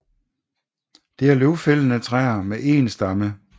Det er løvfældende træer med én stamme